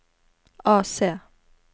AC